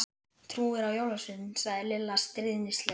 Trúirðu á jólasveininn? sagði Lilla stríðnislega.